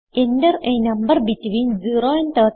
enter a number between 0 and 39